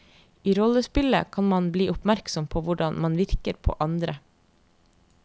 I rollespillet kan man bli oppmerksom på hvordan man virker på andre.